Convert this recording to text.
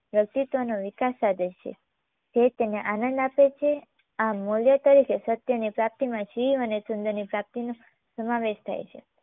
વ્યક્તિત્વનો વિકાસ સાધે છે. તે તેને આનદ આપે છે. આ મૂલ્ય તરીકે સત્યની પ્રાપ્તીમાં શિવ અને સુંદરની પ્રાપ્તીનો સમાવેશ થાય છે